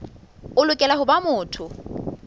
o lokela ho ba motho